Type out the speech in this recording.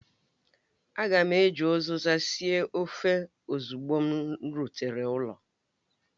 Aga m eji uziza sie ofe ozugbo m rutere ụlọ